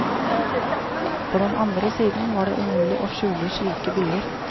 På den andre siden var det umulig å skjule slike byer.